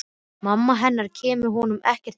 Mamma hennar kemur honum ekkert við.